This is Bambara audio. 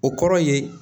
O kɔrɔ ye